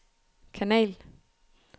kanal